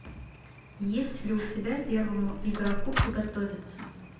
есть ли у тебя первому игроку приготовиться